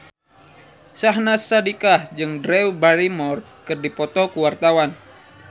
Syahnaz Sadiqah jeung Drew Barrymore keur dipoto ku wartawan